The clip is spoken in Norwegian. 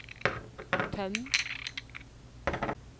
tøm